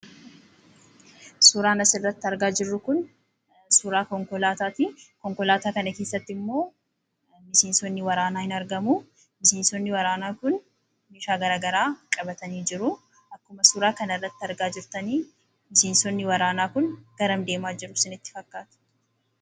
Suuraan asirratti argaa jirru kun suuraa konkolaatatii , konkolaataa kana keessatti ammoo miseensonni waraanaa ni argamuu miseensonni waraanaa kun meeshaa garagaraa qabatanii jiru. Akkuma suuraa kanarraatti argaa jirtanii miseensonni waraanaa kunii garam deemu isinitti fakkaata?